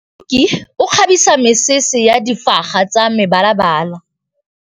Moroki o kgabisa mesese ka difaga tsa mebalabala.